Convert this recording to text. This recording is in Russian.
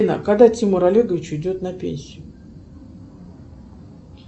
когда тимур олегович уйдет на пенсии